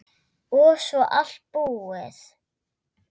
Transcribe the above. Og svo allt búið.